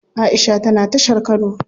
Aisha tana tashar kano.